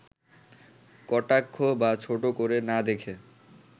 কটাক্ষ বা ছোট করে না দেখে